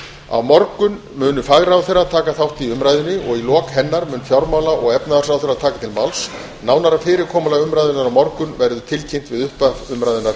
á morgun munu fagráðherrar taka þátt í umræðunni og í lok hennar mun fjármála og efnahagsráðherra taka til máls nánara fyrirkomulag umræðunnar á morgun verður tilkynnt við upphaf umræðunnar